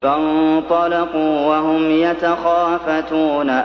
فَانطَلَقُوا وَهُمْ يَتَخَافَتُونَ